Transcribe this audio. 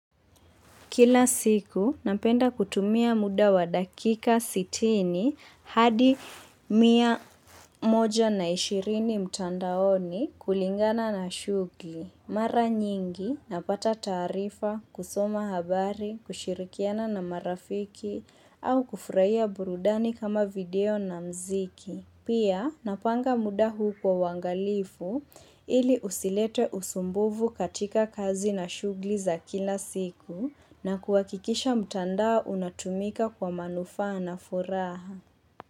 Kila siku napenda kutumia muda wa dakika sitini hadi mia moja na ishirini mtandaoni kulingana na shugli. Mara nyingi napata taarifa, kusoma habari, kushirikiana na marafiki au kufurahia burudani kama video na mziki. Pia napanga muda huu kwa uangalifu ili usilete usumbuvu katika kazi na shugli za kila siku na kuhakikisha mtandao unatumika kwa manufaa na furaha.